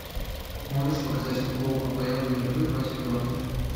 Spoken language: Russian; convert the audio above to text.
можешь показать футбол апл ливерпуль против бернли